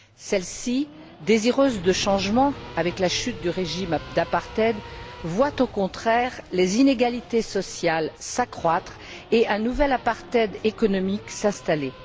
Celle ci, désireuse de changement, avec la chute du régime d'apartheid, voit au contraire les inégalités sociales s'accroître et un nouvel apartheid économique s'installer.